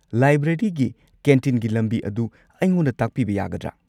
ꯂꯥꯏꯕ꯭ꯔꯦꯔꯤꯒꯤ ꯀꯦꯟꯇꯤꯟꯒꯤ ꯂꯝꯕꯤ ꯑꯗꯨ ꯑꯩꯉꯣꯟꯗ ꯇꯥꯛꯄꯤꯕ ꯌꯥꯒꯗ꯭ꯔꯥ?